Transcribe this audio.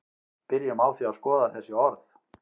byrjum á því að skoða þessi orð